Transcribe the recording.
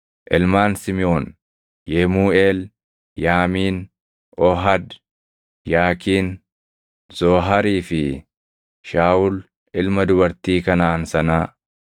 Ilmaan Simiʼoon: Yemuuʼeel, Yaamiin, Oohad, Yaakiin, Zooharii fi Shaawul ilma dubartii Kanaʼaan sanaa.